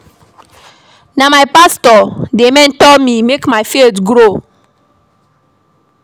Na my pastor dey mentor me make my faith grow.